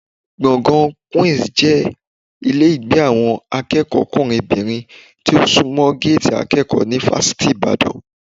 Gbọ̀ngàn Queen's jẹ́ ilé ìgbé àwọn akẹ́kọ̀ọ́kùnrinbìnrin tí ó sunmọ géètì àkọ́kọ́ ní Fásitì Ìbàdàn